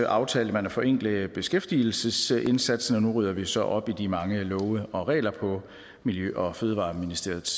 aftalte man at forenkle beskæftigelsesindsatsen og nu rydder vi så op i de mange love og regler på miljø og fødevareministeriets